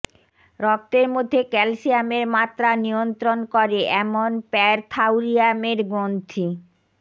রক্তের মধ্যে ক্যালসিয়ামের মাত্রা নিয়ন্ত্রণ করে এমন প্যারথাউরিয়ামের গ্রন্থি